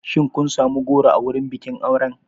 Shin kun sami goro a wurin bikin auren?